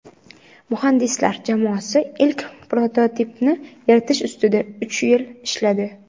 Muhandislar jamoasi ilk prototipni yaratish ustida uch yil ishladi.